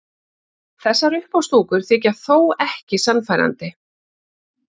Þessar uppástungur þykja þó ekki sannfærandi.